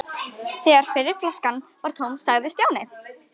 Þegar fyrri flaskan var tóm sagði Stjáni